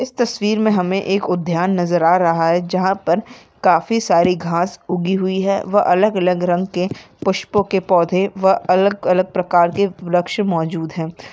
इस तस्वीर में हमें उद्यान नजर आ रहा है जहाँ पर काफी सारी घास उगी हुई है वह अलग-अलग रंग के पुष्पों के पौधे व अलग-अलग प्रकार के वृक्ष मौजूद है।